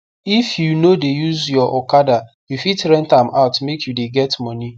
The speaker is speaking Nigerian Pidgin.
if you no de use your okada you fit rent am out make you de get moni